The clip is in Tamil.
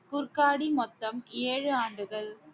மொத்தம் ஏழு ஆண்டுகள்